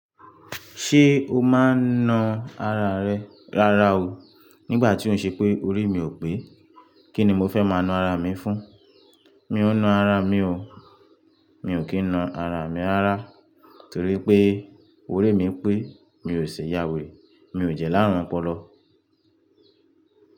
Ṣé o máa ń na ara rẹ rárá o? Nígbà tí ó ń ṣe pé orí mi ò pé, kí ni mo fẹ́ máa na ara mi fún? Mi ò na ara mi o. Mi ò kí ń na ara mi rárá torí pé orí mi pé mi ò ṣe yàweré, mi ò jẹ láàrún ọpọlọ.